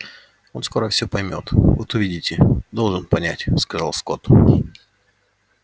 он скоро всё поймёт вот увидите должен понять сказал скотт